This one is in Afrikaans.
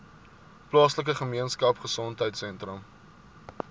plaaslike gemeenskapgesondheid sentrum